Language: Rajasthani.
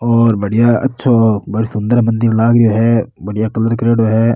और बढ़िया अच्छो बड़ो सुन्दर मंदिर लाग रेहो है बढ़िया कलर करेडो है।